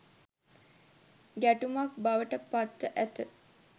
ගැටුමක් බවට පත්ව ඇත